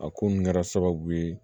A ko n kɛra sababu ye